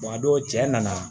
a don cɛ nana